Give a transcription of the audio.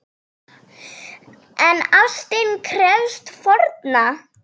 En ástin krefst fórna!